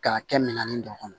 K'a kɛ minan nin dɔ kɔnɔ